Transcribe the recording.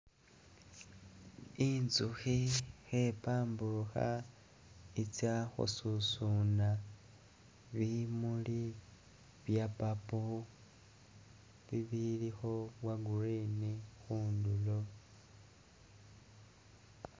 Intsukhi khepamburukha i'tsa khususuna bimuli bya'purple bibilikho bya'green khundulo